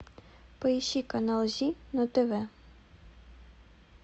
поищи канал зи на тв